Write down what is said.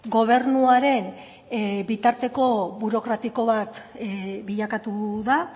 gobernuaren bitarteko burokratiko bat bilakatu da